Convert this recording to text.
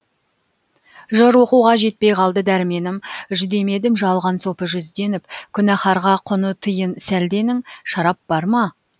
жыр оқуға жетпей қалды дәрменім жүдемедім жалған сопы жүзденіп күнәһарға құны тиын сәлденің шарап бар ма